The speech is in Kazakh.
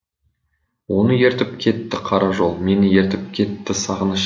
оны ертіп кетті қара жол мені ертіп кетті сағыныш